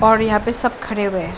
और यहाँ पे सब खरे हुए हैं।